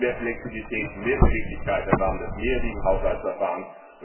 Wir brauchen mehr Flexibilität, mehr Beweglichkeit im Rahmen des mehrjährigen Haushaltsverfahrens.